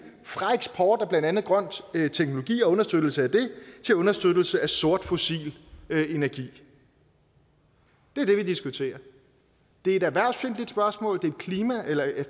fra eksport af blandt andet grøn teknologi og understøttelse af det til understøttelse af sort fossil energi det er det vi diskuterer det er et erhvervsfjendtligt